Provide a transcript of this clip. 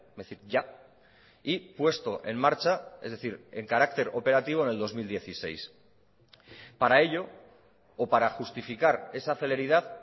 decir ya y puesto en marcha es decir en carácter operativo en el dos mil dieciséis para ello o para justificar esa celeridad